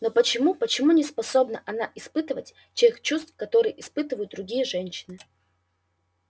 ну почему почему не способна она испытывать тех чувств которые испытывают другие женщины